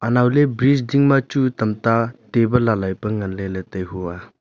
anow ley bright dingma chu tamta table lai lai pe ngan ley ley tai hua.